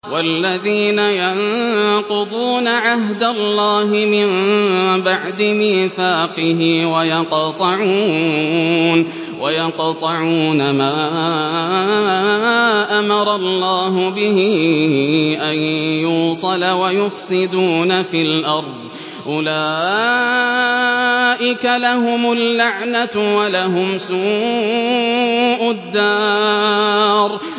وَالَّذِينَ يَنقُضُونَ عَهْدَ اللَّهِ مِن بَعْدِ مِيثَاقِهِ وَيَقْطَعُونَ مَا أَمَرَ اللَّهُ بِهِ أَن يُوصَلَ وَيُفْسِدُونَ فِي الْأَرْضِ ۙ أُولَٰئِكَ لَهُمُ اللَّعْنَةُ وَلَهُمْ سُوءُ الدَّارِ